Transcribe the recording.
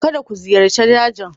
Kada ku ziyarci dajin.